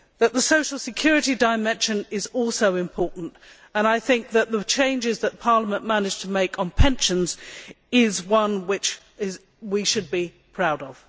The social security dimension is also important and I think that the changes that Parliament managed to make on pensions is one which we should be proud of.